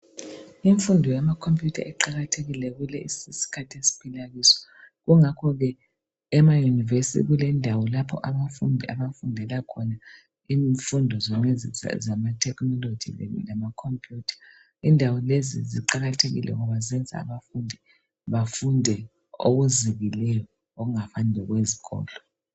Imfundo yama computer iqakathekile kulesi isikhathi esiphila kuso. Kungakho ke emaYunivesithi kulendawo lapho abafundi abafundela khona imfundo zonalezi zama technology Kanye lama computer. Indawo lezi ziqakathekile ngoba zenza abafundi befunde okuzikileyo okungafani lokwezikolo.